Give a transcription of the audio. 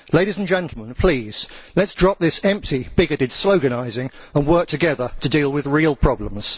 Ladies and gentlemen, please, let us drop this empty, bigoted sloganising and work together to deal with real problems.